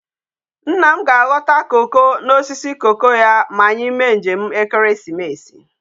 Nna m ka aghota cocoa na osisi cocoa ya ma anyi mee njem ekeresimesi